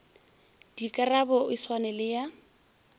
dikarabo e swane le ya